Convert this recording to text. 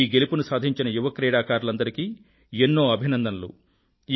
ఈ గెలుపుని సాధించిన యువ క్రీడాకారులందరికీ ఎన్నో అభినందనలు